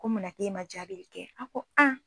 Ko muna k'e ma jaabili kɛ an ko